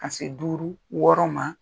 Ka se duuru wɔɔrɔ ma